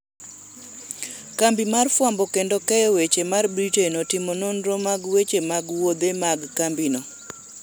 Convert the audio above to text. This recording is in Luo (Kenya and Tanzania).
kambi ma fwambo kendo keyo weche mar Britain otimo nonro mag weche mag wuodhe mag kambino